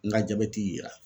N ka jabɛti ye ra